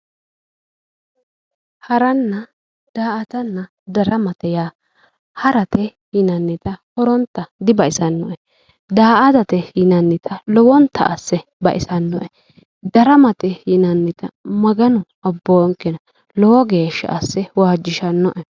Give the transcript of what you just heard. Haranna daa"attanna darama yaa, ha'rate yinnannitta horontayi dibaxisanoe daa"attate yinnannitta lowontanni asse baxisanoe, daramate yinnannitta Maganu abbonke, lowo geeshsha asse waajishshanoe".